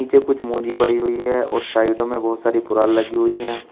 नीचे कुछ मोजी पड़ी हुई है और साइडों में बहुत सारी पुराल लगी हुई है।